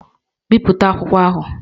Bipụta akwụkwọ ahụ!